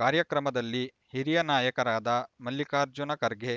ಕಾರ್ಯಕ್ರಮದಲ್ಲಿ ಹಿರಿಯ ನಾಯಕರಾದ ಮಲ್ಲಿಕಾರ್ಜುನ ಖರ್ಗೆ